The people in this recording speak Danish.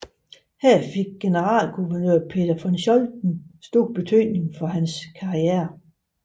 Her fik generalguvernør Peter von Scholten stor betydning for hans karriere